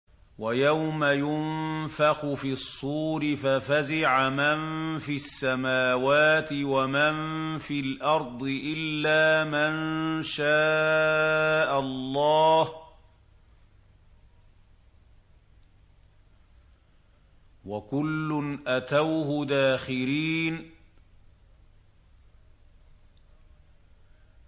وَيَوْمَ يُنفَخُ فِي الصُّورِ فَفَزِعَ مَن فِي السَّمَاوَاتِ وَمَن فِي الْأَرْضِ إِلَّا مَن شَاءَ اللَّهُ ۚ وَكُلٌّ أَتَوْهُ دَاخِرِينَ